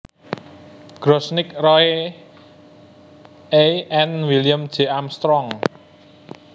Grossnick Roy A and William J Armstrong